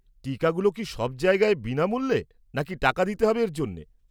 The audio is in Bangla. টিকাগুলো কি সব জায়গায় বিনামূল্যে নাকি টাকা দিতে হবে এর জন্যে?